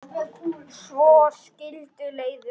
Svo skildi leiðir.